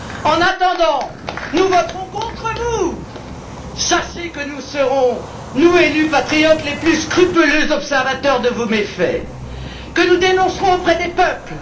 En attendant, nous voterons contre vous. Sachez que nous serons nous, élus patriotes, les plus scrupuleux observateurs de vos méfaits, que nous dénoncerons auprès des peuples.